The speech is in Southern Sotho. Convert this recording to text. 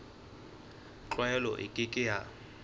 tlwaelo e ke ke ya